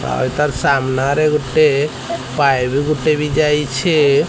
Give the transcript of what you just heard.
ଆ ତାର୍ ସାମ୍ନାରେ ଗୋଟେ ପାଇପ୍ ଗୁଟେ ବି ଯାଇଛି।